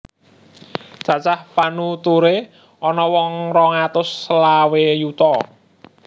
Cacah panuturé ana wong rong atus selawe yuta